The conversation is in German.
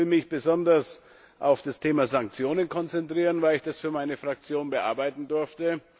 Ich will mich besonders auf das Thema Sanktionen konzentrieren, weil ich das für meine Fraktion bearbeiten durfte.